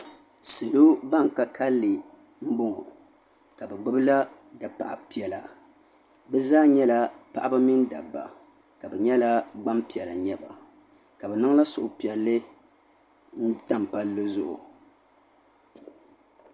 Salo banka kalilli mboŋɔ ka bɛ gbabi la dapaɣ'piɛla bɛ zaa nyɛla paɣaba mini dabba ka bɛ nyɛla gbampiɛla n nyɛba ka bɛ niŋla suhupiɛlli n tam palli zuɣu.